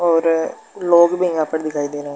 और लोग भी यहाँ पर दिखाई दे रहें हैं।